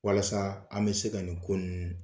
Walasa an bɛ se ka nin ko ninnu